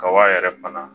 Kaba yɛrɛ fana